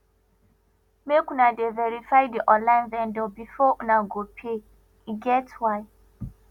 make una dey verify di online vendor before una go pay e get why